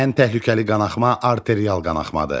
Ən təhlükəli qanaxma arterial qanaxmadır.